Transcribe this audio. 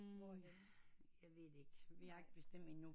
Mon ikke jeg ved det ikke vi har ikke bestemt endnu